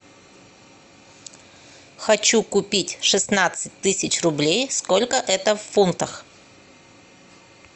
хочу купить шестнадцать тысяч рублей сколько это в фунтах